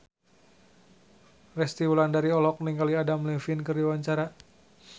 Resty Wulandari olohok ningali Adam Levine keur diwawancara